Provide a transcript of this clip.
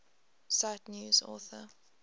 cite news author